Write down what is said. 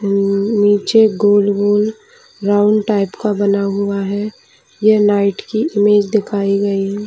नीचे गोल - गोल राउंड टाइप का बना हुआ है ये नाईट की इमेज दिखाई गयी है।